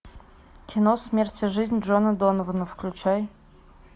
кино смерть и жизнь джона донована включай